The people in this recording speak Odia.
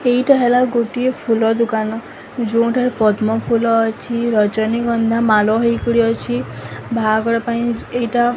ଏଇଟା ହେଲା ଗୋଟିଏ ଫୁଲ ଦୁକାନ ଯୋଉଁଠାରେ ପଦ୍ମ ଫୁଲ ଅଛି ରଜନୀଗନ୍ଧା ମାଲ ହେଇକରି ଅଛି ଭାଆଗର ପାଇଁ ଏଇଟା --